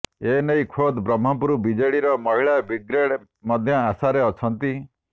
ଏନେଇ ଖୋଦ୍ ବ୍ରହ୍ମପୁର ବିଜେଡିର ମହିଳା ବ୍ରିଗେଡ୍ ମଧ୍ୟ ଆଶାରେ ଅଛନ୍ତି